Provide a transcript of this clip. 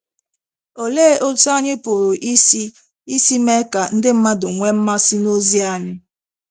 Olee otú anyị pụrụ isi isi mee ka ndị mmadụ nwee mmasị n’ozi anyị?